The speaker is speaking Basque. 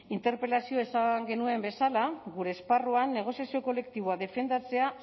interpelazioan esan genuen bezala gure esparruan negoziazio kolektiboa defendatzea